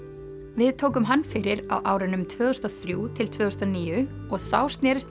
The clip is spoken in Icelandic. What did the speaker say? við tókum hann fyrir á árunum tvö þúsund og þrjú til tvö þúsund og níu og þá snerist